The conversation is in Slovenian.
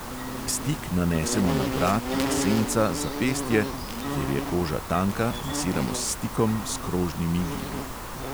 Stik nanesemo na vrat, na senca, zapestje (kjer je koža tanka, masiramo s stikom s krožnimi gibi).